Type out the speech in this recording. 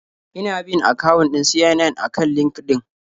Ina bin akawun ɗin CNN a kan LinkedIn.